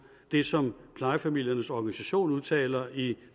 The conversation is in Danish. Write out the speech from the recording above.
det som plejefamiliernes organisation udtaler i